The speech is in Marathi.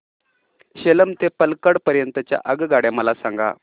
सेलम ते पल्लकड पर्यंत च्या आगगाड्या मला सांगा